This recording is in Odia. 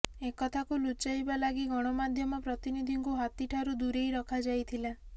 ଏକଥାକୁ ଲୁଚାଇବା ଲାଗି ଗଣମାଧ୍ୟମ ପ୍ରତିନିଧିଙ୍କୁ ହାତୀଠାରୁ ଦୂରେଇ ରଖାଯାଇଥିଲା